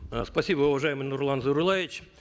э спасибо уважаемый нурлан зайроллаевич